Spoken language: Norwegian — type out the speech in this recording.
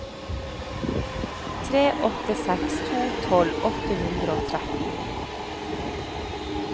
tre åtte seks to tolv åtte hundre og tretten